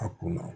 A kunna